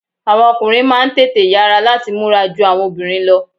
Àwọn ọkùnrin máà ń tètè yara lati múra jù awọn obìnrin lọ.